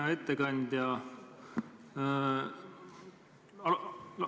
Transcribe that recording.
Hea ettekandja!